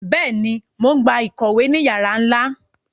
Béèni, Mo n gbà ìkòwé ní yara nla